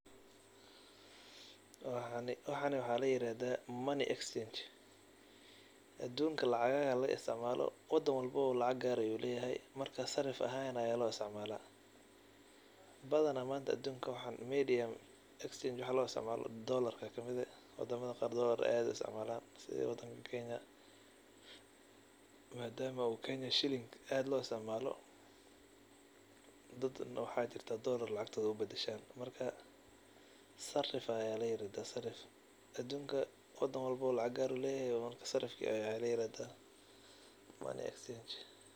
Waxana waxa la yirahda [cs[money exchange, adunka lacagaha laga isticmaalo, wadan walbo lacag gaar ayuu leyahay, marka sarif ahan aya loo isticmaala, badan adunka manta money exchange maxa loo isticmaala dolarka kamide, wadama qaar dolarka ayay aad u isticmaalan sidi wadankan Kenya, maadama oo cs]Kenya shiling aad loo isticmaalo dad waxa jira dolar lacagtoda ubadashan marka Sarif aya la yirahda, adunka wadan walbo lacag gaar ayu leyahay marka sarif aya la yirahda, money exchange